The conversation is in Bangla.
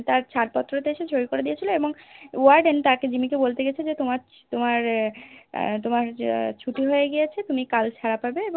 তার ছাড়পত্র তে এসে সই করে দিয়েছিলো এবং Warden তাকে জিম্মি কে বলতে গেছে যে তোমার তোমার এর আহ তোমার ছুটি হয়ে গিয়েছে তুমি কাল ছাড়া পাবে